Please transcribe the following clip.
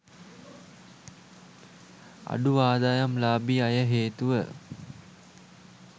අඩු ආදායම්ලාභී අය හේතුව